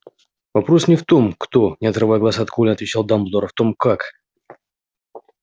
вопрос не в том кто не отрывая глаз от колина отвечал дамблдор а в том как